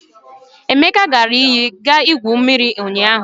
Emeka gara iyi iga gwuo mmiri ụnyaahụ.